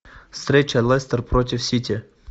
встреча лестер против сити